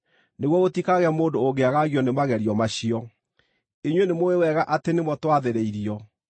nĩguo gũtikagĩe mũndũ ũngĩagagio nĩ magerio macio. Inyuĩ nĩmũũĩ wega atĩ nĩmo twathĩrĩirio.